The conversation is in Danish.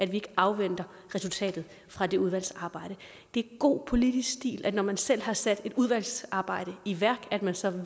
vi ikke afventer resultatet fra det udvalgsarbejde det er god politisk stil når man selv har sat et udvalgsarbejde i værk at man så